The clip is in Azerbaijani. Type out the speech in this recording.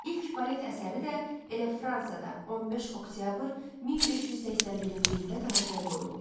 İlk balet əsəri də elə Fransada 15 oktyabr 1581-ci ildə tamaşaya qoyulub.